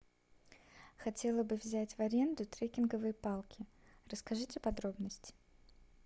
хотела бы взять в аренду трекинговые палки расскажите подробности